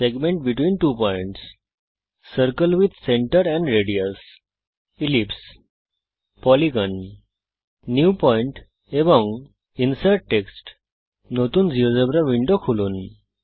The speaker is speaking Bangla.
segment between two points circle with centre and radius ellipse polygon new point and insert text নতুন জীয়োজেব্রা উইন্ডো খুলুন